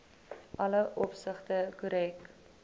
alle opsigte korrek